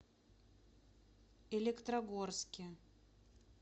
электрогорске